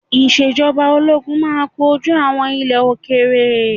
Ìṣèjọba Ológun máa kojú àwọn ilẹ̀ òkèèrè.